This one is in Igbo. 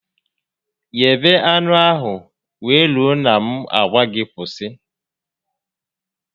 Ghebe anụ ahụ wee rue na m a gwa gị kwụsị